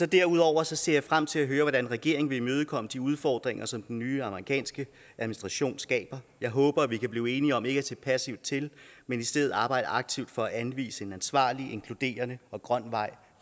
derudover ser jeg frem til at høre hvordan regeringen vil imødekomme de udfordringer som den nye amerikanske administration skaber jeg håber at vi kan blive enige om ikke at se passivt til men i stedet arbejde aktivt for at anvise en ansvarlig inkluderende og grøn vej